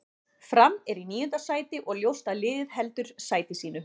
Fram er í níunda sæti og ljóst að liðið heldur sæti sínu.